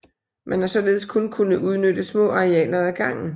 Man har således kun kunnet udnytte små arealer ad gangen